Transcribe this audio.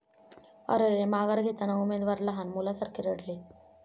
अरेरे, माघार घेताना उमेदवार लहान मुलासारखे रडले